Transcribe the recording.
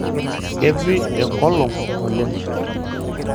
Kepi engolong oleng.